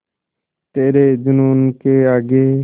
तेरे जूनून के आगे